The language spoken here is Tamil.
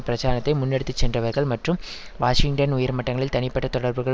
பிரச்சாரத்தை முன்னெடுத்து சென்றவர்கள் மற்றும் வாஷிங்டன் உயர் மட்டங்களில் தனிப்பட்ட தொடர்புகள்